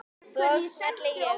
Svo smelli ég af.